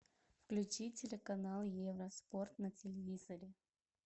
включи телеканал евроспорт на телевизоре